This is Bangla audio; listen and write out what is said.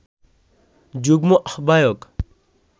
যুগ্ম আহ্বায়ক